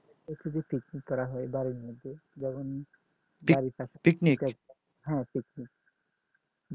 picnic করা হয় বাড়ির নিচে যেমন হ্যাঁ picnic